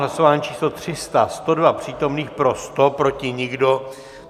Hlasování číslo 300, 102 přítomných, pro 100, proti nikdo.